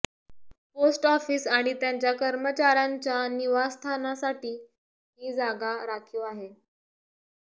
post office आणि त्यांच्या कर्मचाऱ्यांच्या निवास्थानासाठी ही जागा राखीव आहे